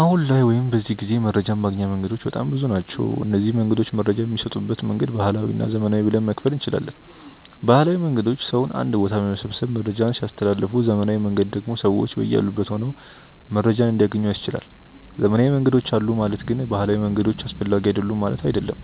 አሁን ላይ ወይም በዚህ ጊዜ መረጃን ማግኛ መንገዶች በጣም ብዙ ናቸው። እነዚንም መንገዶች መረጃ በሚሰጡበት መንገድ ባህላዊ እና ዘመናዊ ብለን መክፈል እንችላለን። ባህላዊ መንገዶች ሰውን አንድ ቦታ በመሰብሰብ መረጃን ሲያስተላልፉ ዘመናዊው መንገድ ደግሞ ሰዎች በያሉበት ሆነው መረጃን እንዲያገኙ ያስችላል። ዘመናዊ መንገዶች አሉ ማለት ግን ባህላዊ መንገዶች አስፈላጊ አይደሉም ማለት አይደለም።